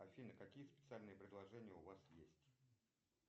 афина какие специальные предложения у вас есть